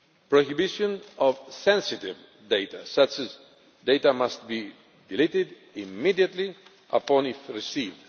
prohibition of sensitive data such data must be deleted immediately upon receipt